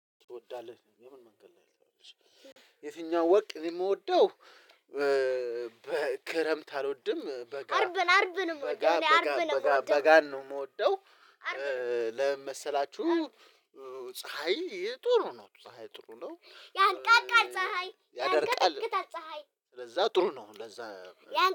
ትወዳለህ የምን መንገድ ነው የሚለው? የትኛው ወቅ የምወደው። በክረምት አልወድም በጋ አርብን አርብን አልወድም በጋ በጋ ነው የምወደው። ለምን መሰላችሁ? ፀሀይ ጥሩ ነው ፀሀይ ጥሩ ነው ያነቃቃል ፀሀይ ያደርቃል። ለዛ ጥሩ ነው ለዛ።